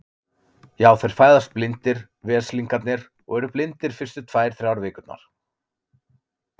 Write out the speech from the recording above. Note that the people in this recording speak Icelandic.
Já, þeir fæðast blindir, veslingarnir, og eru blindir fyrstu tvær, þrjár vikurnar.